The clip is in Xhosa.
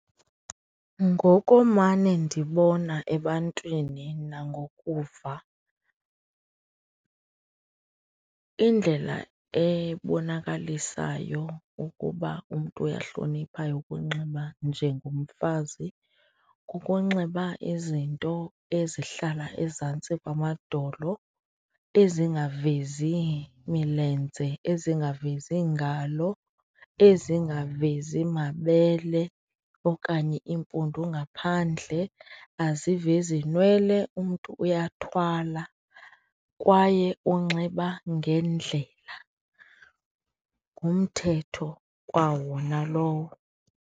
Ngokomane ndibona ebantwini nangoku ukuva, indlela ebonakalisayo ukuba umntu uyahlonipha ukunxiba njengomfazi kukunxiba izinto ezihlala ezantsi kwamadolo, ezingavezi imilenze, ezingavezi iingalo, ezingavezi mabele okanye iimpundu ngaphandle, azivezi nwele umntu uyathwala kwaye unxiba ngendlela. Ngumthetho kwawona lowo.